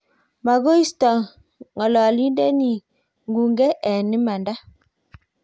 maguisoti ng'oliondeni ng'ung'e eng imanda